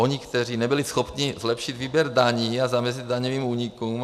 Oni, kteří nebyli schopni zlepšit výběr daní a zamezit daňovým únikům.